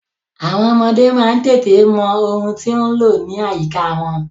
Àwọn ọmọdé má ń tètè mọ ohun tí ó ń lọ ní àyíká wọn.